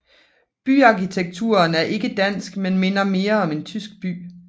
Byarkitekturen er ikke dansk men minder mere om en tysk by